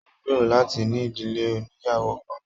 Mo n gbéró láti ní ìdílé ònìyàwó kan.